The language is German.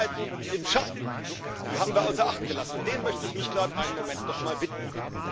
Die Seiten im Schatten haben wir außer Acht gelassen, und denen möchte ich mich grad einen Moment nochmal widmen.